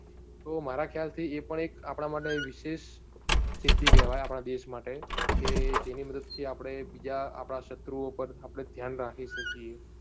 તો મારા ખ્યાલ થી એ પણ એક આપણા માટે વિશેષ સિદ્ધિ કેવાય આપણા દેશ માટે કે જેની મદદ થી આપણે બીજા આપણા ક્ષત્રુઓ પર આપણે ધ્યાન રાખી શકીએ.